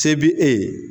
Se bi e ye